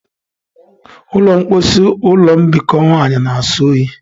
Ụlọ mposi ụlọ mbikọ nwanyị na-asọ oyi.